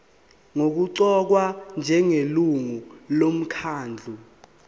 nokuqokwa njengelungu lomkhandlu